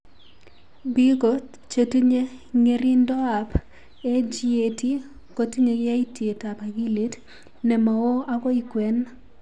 Biko chetinye ng'ering'indoab AGAT kotinye yaitietab akilit ne ma oo akoi kwen.